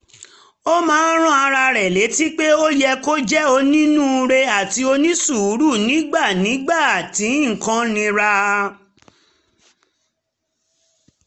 ó máa um ń rán ara rẹ̀ létí pé ó yẹ kó jẹ́ onínúure àti onísùúrù nígbà nígbà tí nǹkan nira